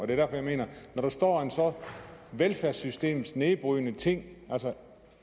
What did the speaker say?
er derfor jeg mener at når der står en velfærdssystemsnedbrydende ting